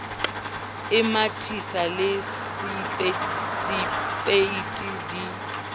e mathisang le sepeiti di